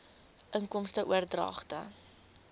inkomste oordragte